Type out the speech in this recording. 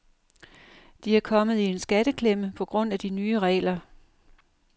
De er kommet i en skatteklemme på grund af de nye regler.